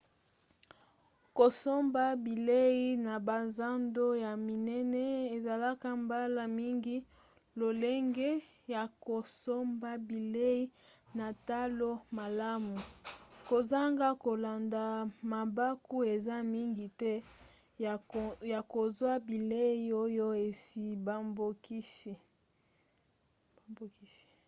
kosomba bilei na bazando ya minene ezalaka mbala mingi lolenge ya kosomba bilei na talo malamu. kozanga kolanda mabaku eza mingi te ya kozwa bilei oyo esi babongisi